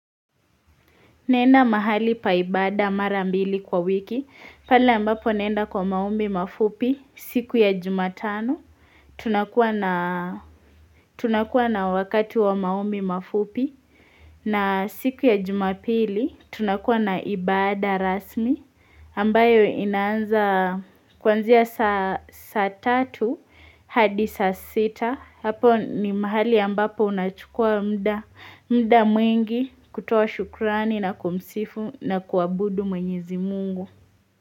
Naenda mahali pa ibada mara mbili kwa wiki, pale ambapo naenda kwa maombi mafupi siku ya jumatano, tunakuwa na tunakuwa na wakati wa maombi mafupi, na siku ya jumapili tunakuwa na ibada rasmi, ambayo inaanza kuanzia saa saa tatu, hadi sa sita, hapo ni mahali ambapo unachukua muda, muda mwingi kutoa shukurani na kumsifu na kuabudu mwenyezi Mungu.